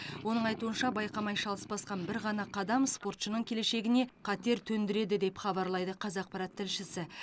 оның айтуынша байқамай шалыс басқан бір ғана қадам спортшының келешегіне қатер төндіреді деп хабарлайды қазақпарат тілшісі